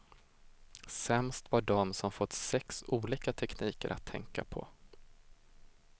Sämst var de som fått sex olika tekniker att tänka på.